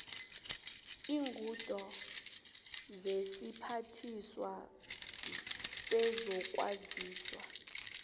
iinqunto zesiphathiswa sezokwazisa